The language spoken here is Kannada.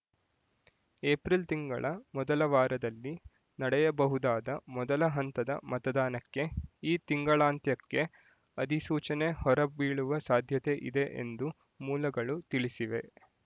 ಏಪ್ರಿಲ್ ತಿಂಗಳ ಮೊದಲ ವಾರದಲ್ಲಿ ನಡೆಯಬಹುದಾದ ಮೊದಲ ಹಂತದ ಮತದಾನಕ್ಕೆ ಈ ತಿಂಗಳಾಂತ್ಯಕ್ಕೆ ಅಧಿಸೂಚನೆ ಹೊರ ಬೀಳುವ ಸಾಧ್ಯತೆ ಇದೆ ಎಂದು ಮೂಲಗಳು ತಿಳಿಸಿವೆ